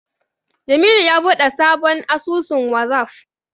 Jamilu ya buɗe sabon asusun Wazaf.